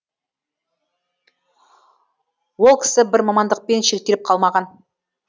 ол кісі бір мамандықпен шектеліп қалмаған